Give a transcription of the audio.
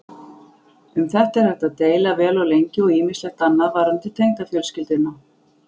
Um þetta er hægt að deila vel og lengi og ýmislegt annað varðandi tengdafjölskylduna.